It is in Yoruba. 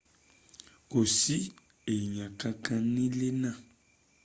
kò sí èyàn kan kan nílé ná